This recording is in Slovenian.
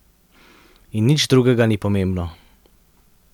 In nič drugega ni pomembno.